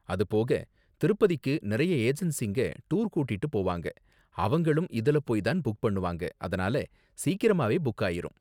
அது போக, திருப்பதிக்கு நிறைய ஏஜென்சிங்க டூர் கூட்டிட்டு போவாங்க, அவங்களும் இதுல போய் தான் புக் பண்ணுவாங்க, அதனால சீக்கிரமாவே புக் ஆயிரும்.